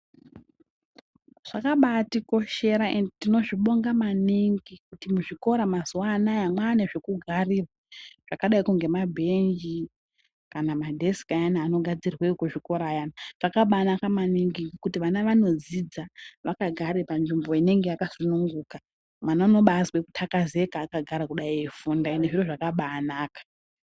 Zvakabatikoshera endi tinozvibonga maningi kuti muzvikora mazuwa anaya mwane zvekugarira zvakadaiko ngemabhenji kana madhesiki ayana anogadzirwe ekuzvikora ayana. Zvakabanaka maningi kuti vana vanodzidza vakagare panzvimbo inenge yakasununguka. Mwana unobazwe kuthakazeka akagara kudai eifunda, endi zviro zvakabanaka.